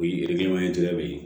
O ye de ye